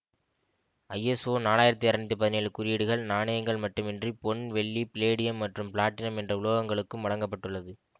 ISO நாளாயிரத்தி இருநூற்றி பதினேழு குறியீடுகள் நாணயங்கள் மட்டுமன்றி பொன் வெள்ளி பிளேடியம் மற்றும் பிளாட்டினம் என்ற உலோகங்களுக்கும் வழங்க பட்டுள்ளது